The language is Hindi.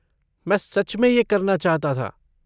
मैं सच में ये करना चाहता था।